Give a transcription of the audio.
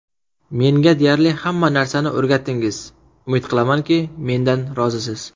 Menga deyarli hamma narsani o‘rgatdingiz, umid qilamanki, mendan rozisiz.